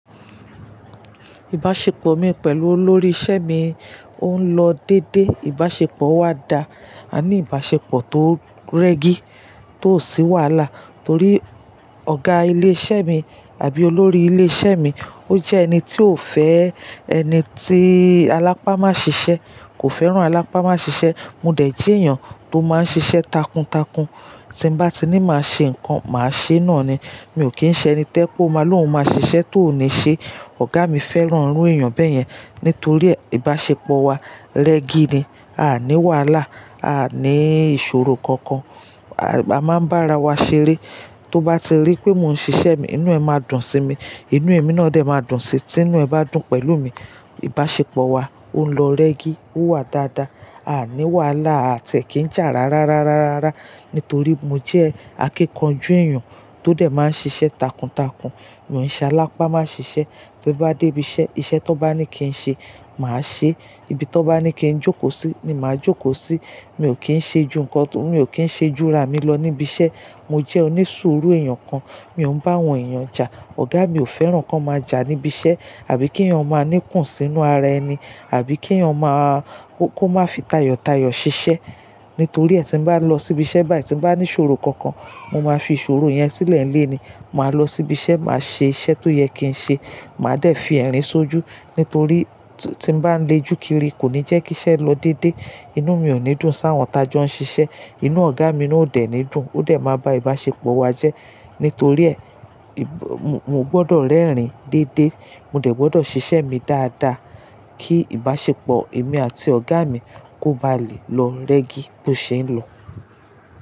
Ìbáṣepọ̀ mi pẹ̀lú olórí isẹ́ mi òún lọ dédé, ìbáṣepọ̀ wa dà, a ní ìbáṣepọ̀ tó rẹ́gí, tó sì wàhálà torí ọ̀gá ilé iṣẹ́ mi àbí olórí ilé iṣẹ́ mi ó jẹ́ ẹni tí ó fẹ́ ẹni tí alápámá ṣiṣẹ́ kò fẹ́ràn alápámá ṣiṣẹ́. Mo dẹ̀ jí èèyàn tó máa ń ṣiṣẹ́ takuntakun, tí n bá ti ní máa ṣe nǹkan, màá ṣe náà ni. Mi ò kí ń ṣe ẹni tẹ́ pó má lòún máa ṣiṣẹ́ tó níí ṣe. Ọ̀gá mi fẹ́ràn irú èèyàn bẹ́yẹn nítorí ìbáṣepọ̀ wa rẹ́gí ni, a ní wàhálà, a ní ìṣòro kankan. A máa ń bá ara wa ṣeré. Tó bá ti rí pé mò ń ṣiṣẹ́ mi, inú ẹ máa dùn sí mi, inú èmi náà dẹ̀ máa dùn sí tí inú ẹ bá dùn pẹ̀lú mi. Ìbáṣepọ̀ wa òún lọ rẹ́gí, ó wà dáadáa, a ní wàhálà a tẹ̀ kí ń jà rárárárá nítorí mo jẹ́ akíkanjú èèyàn tó dẹ̀ máa ń ṣiṣẹ́ takuntakun, ìwọ̀nṣẹ́ alápámá ṣiṣẹ́. Tí mo bá dé ibi iṣẹ́, iṣẹ́ tó bá ní kí n ṣe, màá ṣe é. Ibi tó bá ní kí n jókòó sí ni màá jókòó sí. Mi ò kí ń ṣe ju nǹkan, mi ò kí ń ṣe júra mi lọ níbi iṣẹ́. Mo jẹ́ onísùúrù èèyàn kan, mi ò ń bá wọn èèyàn jà. Ọ̀gá mi ò fẹ́ràn kí wọ́n máa jà níbi iṣẹ́ àbí kí èèyàn máa ní kùnsínú ara ẹni, àbí kí èèyàn máa-- kó má fi tayọ̀tayọ̀ ṣiṣẹ́. Nítorí ẹ́ tí mo bá lọ sí ibi iṣẹ́ báyìí tí mo bá ní ìṣòro kankan, mo máa fi ìṣòro yẹn sílẹ̀ nílé ni, màá lọ sí ibi iṣẹ́, màá ṣe iṣẹ́ tó yẹ kí n ṣe. Màá dẹ̀ fi ẹ̀rín ṣojú nítorí tí mo bá ń le jù kiri kò ní jẹ́ kí iṣẹ́ lọ dédé. Inú mi ò ní dùn sáwọn ta jọ ń ṣiṣẹ́, inú ọ̀gá mi ò dẹ ní dùn, ó dẹ̀ máa bá ìbáṣepọ̀ wa jẹ́. Nítorí ẹ́, mo gbọdọ̀ rẹ́rìn dédé, mo dẹ̀ gbọdọ̀ ṣiṣẹ́ mi dáadáa kí ìbáṣepọ̀ èmi àti ọ̀gá mi kó ba lè lọ rẹ́gí bí ó ṣe ń lọ.